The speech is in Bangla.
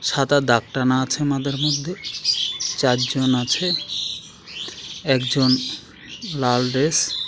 সাদা দাগ টানা আছে মাদের মধ্যে। চাজ্জন আছে। একজন লাল ড্রেস ।